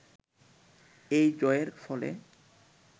এই জয়ের ফলে